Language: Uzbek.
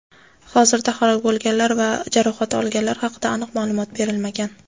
Hozirda halok bo‘lganlar va jarohat olganlar haqida aniq ma’lumot berilmagan.